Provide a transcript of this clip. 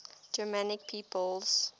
germanic peoples